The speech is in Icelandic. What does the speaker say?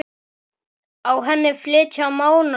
Á henni flytja Mánar lögin